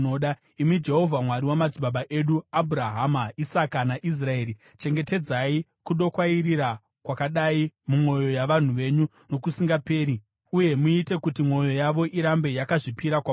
Imi Jehovha, Mwari wamadzibaba edu Abhurahama, Isaka, naIsraeri, chengetedzai kudokwairira kwakadai mumwoyo yavanhu venyu nokusingaperi, uye muite kuti mwoyo yavo irambe yakazvipira kwamuri.